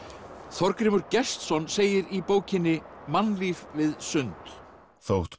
Þorgrímur Gestsson segir í bókinni mannlíf við sund þótt